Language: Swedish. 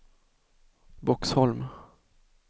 Boxholm